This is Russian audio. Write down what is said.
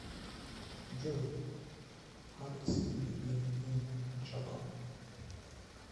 джой алекс миди биг ин джапан